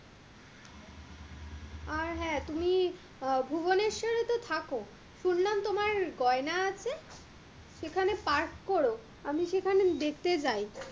আর হ্যাঁ, তুমি আহ ভুবেনেশ্বরে তো থাকো, শুনলাম তোমার গয়না আছে, সেখানে পার্ক করো আমি সেখানে দেখতে যাই,